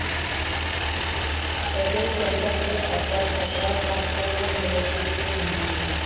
तसेच त्यांच्याकडे अद्याप तक्रार प्राप्त न झाल्याचेही ते म्हणाले.